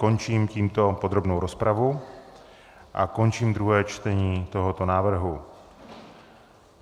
Končím tímto podrobnou rozpravu a končím druhé čtení tohoto návrhu.